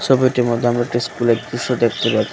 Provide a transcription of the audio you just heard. ছবিটির মধ্যে আমরা একটি স্কুলের দৃশ্য দেখতে পাচ্ছি।